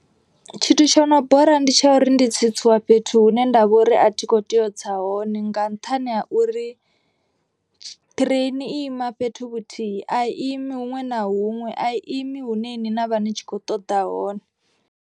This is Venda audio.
Tshithu tsho no bora ndi tsha uri ndi tsitsiwa fhethu hune ndavha uri a thi kho tea u tsa hone. Nga nṱhani ha uri ṱireini i ima fhethu vhuthihi a imi huṅwe na huṅwe a imi hune iṅwi na vha ni tshi kho ṱoḓa hone.